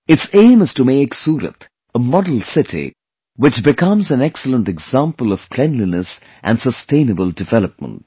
Its aim is to make Surat a model city which becomes an excellent example of cleanliness and sustainable development